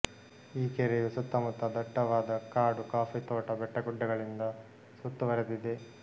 ಈ ಕೆರೆಯು ಸುತ್ತ ಮುತ್ತ ದಟ್ಟವಾದ ಕಾಡು ಕಾಫಿ ತೋಟ ಬೆಟ್ಟಗುಡ್ಡಗಳಿಂದ ಸುತ್ತುವರೆದಿದೆ